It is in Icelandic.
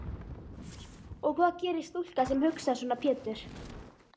Og hvað gerir stúlka sem hugsar svona Pétur?